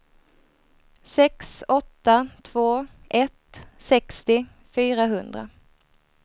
sex åtta två ett sextio fyrahundra